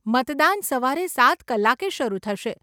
મતદાન સવારે સાત કલાકે શરુ થશે.